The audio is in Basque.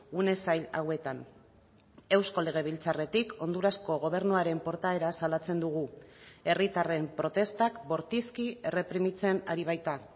une zail hauetan eusko legebiltzarretik hondurasko gobernuaren portaera salatzen dugu herritarren protestak bortizki erreprimitzen ari baita